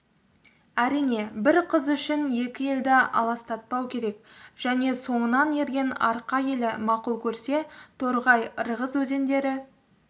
әрине бір қыз үшін екі елді алыстатпау керек және соңынан ерген арқа елі мақұл көрсе торғай ырғыз өзендері